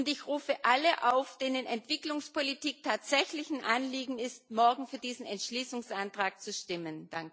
Ich rufe alle auf, denen Entwicklungspolitik tatsächlich ein Anliegen ist, morgen für diesen Entschließungsantrag zu stimmen.